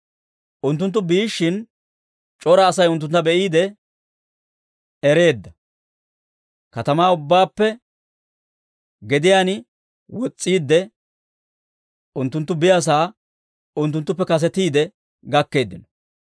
Unttunttu biishshin, c'ora Asay unttuntta be'iide ereedda; katamaa ubbaappe gediyaan wos's'iidde, unttunttu biyaasaa unttunttuppe kasetiide gakkeeddino.